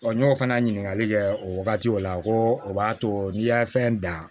n y'o fana ɲininkali kɛ o wagati o la ko o b'a to n'i y'a fɛn dan